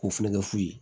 K'u fɛnɛ kɛ fu ye